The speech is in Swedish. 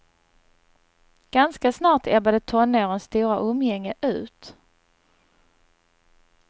Ganska snart ebbade tonårens stora umgänge ut.